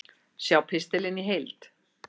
Sjá pistilinn í heild